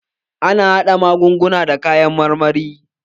Ana haɗa magunguna da kayan marmari.